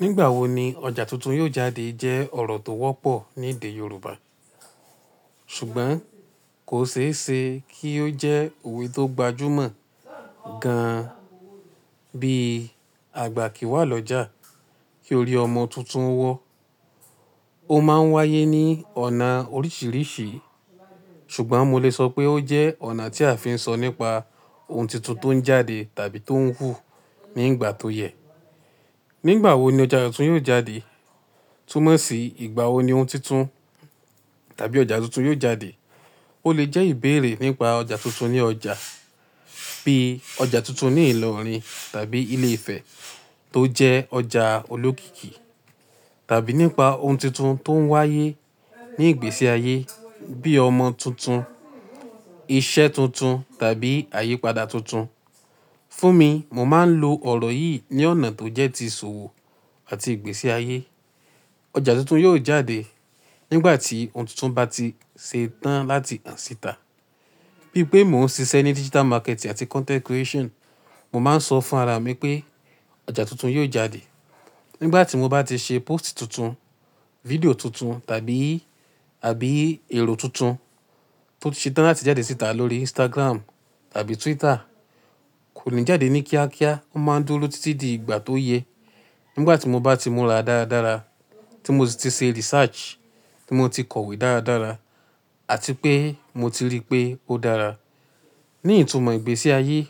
Nígbàwo ni ọjà tuntun yóò jáde jẹ́ ọ̀rọ̀ tó wọ́pọ̀ ní èdè Yorùbá, ṣùgbọ́n kò ṣeéṣe kí ó jẹ́ òwe tó gbajúmọ̀ gan-an. Bí àgbà kì í wá lọ́jà, kí ó rí ọmọ tuntun wọ́. Ó máa ń wáyé ní ọ̀nà oríṣiríṣi, ṣùgbọ́n mo lè sọ pé ó jẹ́ ọ̀nà tí a fi ń sọ nípa ohun tuntun tó ń jáde tàbí tó ń wù ní ìgbà tó yẹ. Nígbàwo ni ọjà tuntun yóò jáde? Túnmọ̀ sí ìgbà wo ni ohun tuntun tàbí ọjà tuntun yóò jáde. Ó lè jẹ́ ìbéèrè nípa ọjà tuntun ní ọjà, bíi ọjà tuntun ní ìlọrin tàbí ilé-ifẹ̀ tó jẹ́ ọjà olókìkí, tàbí nípa ohun tuntun tó ń wáyé ní ìgbésí ayé bíi ọmọ tuntun, iṣẹ́ tuntun tàbí àyípadà tuntun. Fún mi, mo máa ń lo ọ̀rọ̀ yìí ní ọ̀nà tó jẹ́ ti ìṣòwò àti ìgbésí ayé. Ọjà tuntun yóò jáde nígbà tí ohun tuntun bá ti ṣe tán láti han ṣìta. Bí i pé mò ń ṣiṣẹ́ ní digital marketing àti content creation, mo máa ń sọ fún ara mi pé ọjà tuntun yóò jáde nígbà tí mo bá ti ṣe póòstì tuntun, fídíò tuntun tàbí, àbí èrò tuntun tó ti ṣe tán láti jáde síta lórí Instagram tàbí Twitter. Kò ní jáde ní kíákíá, ó máa ń dúró títí di ìgbà tó yẹ. Nígbà tí mo bá ti múra dáradára, tí mo ti ṣe research, tí mo ti kọ̀wé dáradára àti pé mo ti rí i pé ó dára. Ní ìtumọ̀ ìgbésí ayé,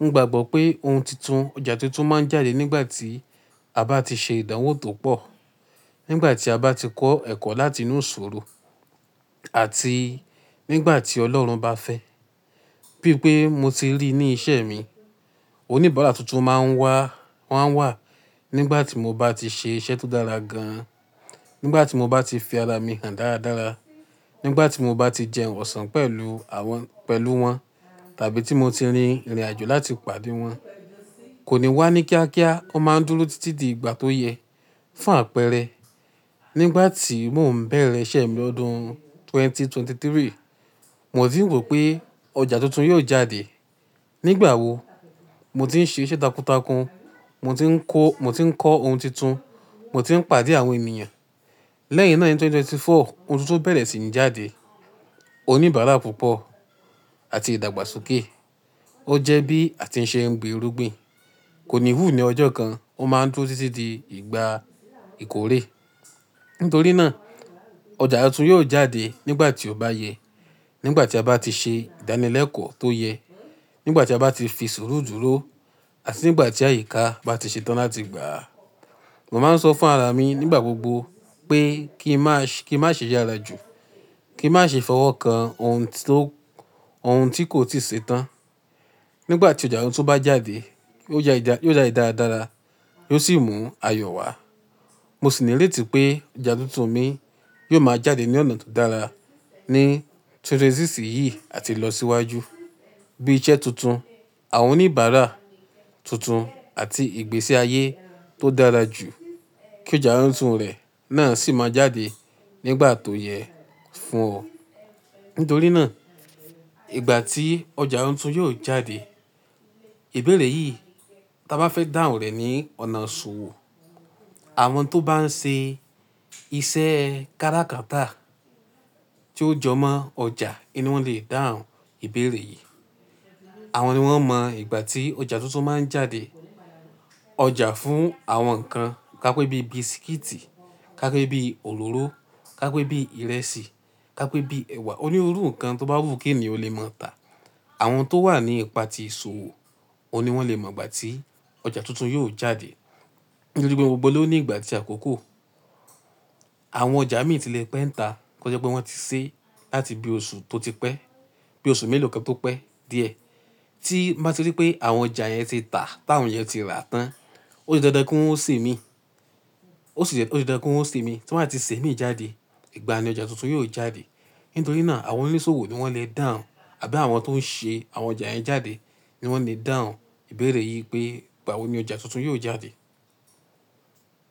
mo gbagbọ́ pé ohun tuntun-- ọjà tuntun máa ń jáde nígbà tí a bá ti ṣe ìdánwò tó pọ̀, nígbà tí a bá ti kọ́ ẹ̀kọ́ láti inú ìṣòro àti nígbà tí Ọlọ́run bá fẹ́. Bí i pé mo ti rí i ní iṣẹ́ mi, oníbàárà tuntun máa ń wá, wọ́n a wà nígbà tí mo bá ti ṣe iṣẹ́ tó dára gan-an, nígbà tí mo bá ti fi ara mi hàn dáradára, nígbà tí mo bá ti jẹun ọ̀sán pẹ̀lú àwọn-- pẹ̀lú wọn tàbí tí mo ti rin ìrìnàjò láti pàdé wọn. Kò ní wá ní kíákíá, ó máa ń dúró títí di ìgbà tó yẹ. Fún àpẹẹrẹ, nígbà tí mò ń bẹ̀rẹ̀ iṣẹ́ mi lọ́dún ẹgbẹ̀rún méjì ó lé ẹ́tàlélógún, mò tí ń rò pé ọjà tuntun yóò jáde. Nígbà wo? Mo ti ń ṣe iṣẹ́ takuntakun, mo ti ń kó-- mo ti ń kọ́ ohun tuntun, mo ti ń pàdé àwọn ènìyàn. Lẹ́yìn náà, ni ẹgbẹ̀rún méjì ó lé ẹ́rinlélógún, ohun tuntun bẹ̀rẹ̀ sí ní jáde. Oníbàárà púpọ̀ àti ìdàgbàsókè. Ó jẹ́ bí a ti ń ṣe ń gbin irúgbìn. Kò ní hù ní ọjọ́ kan, ó máa ń dúró títí di ìgbà ìkórè. Nítorí náà, ọjà tuntun yóò jáde nígbà tí ó bá yẹ. Nígbà tí a bá ti ṣe ìdánilẹ́kọ̀ọ́ tó yẹ, nígbà tí a bá ti fi ìṣòro dúró àti nígbà tí àyíká bá ti ṣe tán láti gbà á. Mo máa ń sọ fún ara mi nígbà gbogbo pé kí n má ṣe, kí n má ṣe yára jù, kí n má ṣe fọwọ́ kan ohun tó, ohun tí kò ti ṣe tán. Nígbà tí ọjà tuntun bá jáde, yio jáde dáradára, yo sì mú ayọ̀ wá. Mo sì ní ìrètí pé ọjà tuntun mi yóò máa jáde ní ọ̀nà tó dára ní ẹgbẹ̀rún méjì ó lé mẹ́rìndínlọ́gbọ̀n yìí àti lọ síwájú. Bí i iṣẹ́ tuntun, àwọn oníbàárà tuntun àti ìgbésí ayé tó dára jù kí ọjà tuntun rẹ̀ náà sì máa jáde nígbà tó yẹ fún ọ̀. Nítorí náà, ìgbà tí ọjà tuntun yóò jáde, ìbéèrè yìí táa bá fẹ́ dáhùn rẹ̀ ní ọ̀nà ìṣòwò, àwọn tó bá ń ṣe iṣẹ́ káràkátà tí ó jọmọ́ ọjà ni wọ́n le dáhùn ìbéèrè yìí. Àwọn ni wọ́n mọ ìgbà tí ọjà tuntun máa ń jáde. Ọjà fún àwọn nǹkan ká pé bí i bisikíìtì, ká pé bí i òróró, ká pé bí i ìrẹsì, ká pé bí i ẹ̀wà. Onírúurú nǹkan tó bá wù kí èèyàn lè máa tà. Àwọn tó wà ní ipa tí ìṣòwò ni wọ́n lè mọ ìgbà tí ọjà tuntun yóò jáde. Nítorí pé gbogbo ló ní ìgbà àkókò. Àwọn ọjà mi ti lè pẹ́ ń tà kí ó jẹ́ pé wọ́n ti ṣe láti bí oṣù tó ti pẹ́, bí i oṣù mélòó kan tó pẹ́ díẹ̀. Tí mo bá ti rí i pé àwọn ọjà yẹn ti tà, táwọn yẹn ti rà tán, ó di dandan kí won ó sè mii, ó di dandan kí won ó sè mii, tí wọ́n á ti sè mií jáde. Ìgbà ni ọjà tuntun yóò jáde. Nítorí náà, àwọn onísòwò ni wọ́n le dáhùn àbí àwọn tó ń ṣe àwọn ọjà yẹn jáde ni wọ́n le dáhùn ìbéèrè yìí pé ìgbà wo ni ọjà tuntun yóò jáde?